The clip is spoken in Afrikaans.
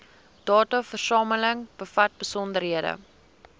dataversameling bevat besonderhede